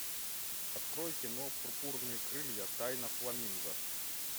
открой кино пурпурные крылья тайна фламинго